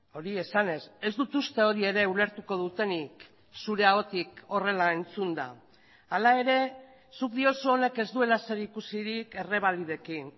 hori esanez ez dut uste hori ere ulertuko dutenik zure ahotik horrela entzunda hala ere zuk diozu honek ez duela zerikusirik errebalidekin